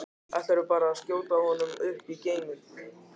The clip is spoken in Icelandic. Ætlarðu bara að skjóta honum upp í geiminn?